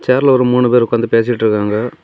சேர்ல ஒரு மூணு பேர் உக்காந்து பேசிட்டு இருக்காங்க.